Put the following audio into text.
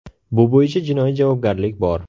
Bu bo‘yicha jinoiy javobgarlik bor.